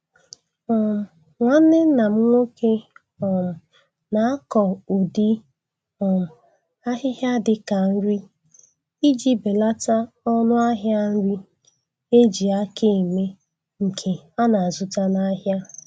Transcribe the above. um Nwanne nna m nwoke um na-akọ udi um ahịhịa dịka nri iji belata ọnụ ahịa nri eji aka eme nke ana-azụta n' ahịa